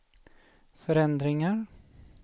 förändringar